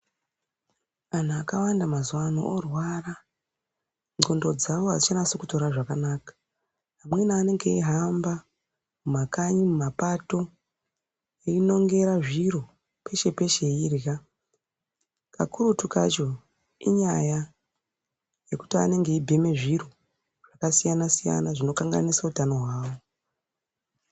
Anhu akawanda mazuano orwara nxondo dzavo adzichanasi kutore zvakanaka amweni anenge eihamba mumakanyi mumapato einongera zviro eirya peshe peshe eirya kakurutu kacho inyaya yekuti anenge eibheme zviro zvakasiyana siyana zvinokanganise utano hwavo.